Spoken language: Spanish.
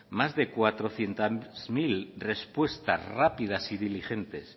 más de cuatrocientos mil respuestas rápidas y diligentes